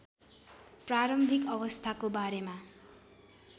प्रारम्भिक अवस्थाको बारेमा